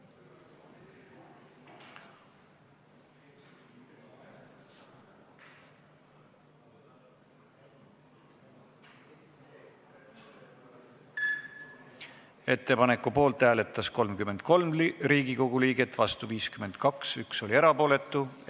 Hääletustulemused Ettepaneku poolt hääletas 33 Riigikogu liiget, vastu 52, erapooletuid 1.